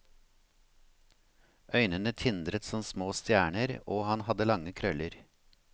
Øynene tindret som små stjerner og han hadde lange krøller.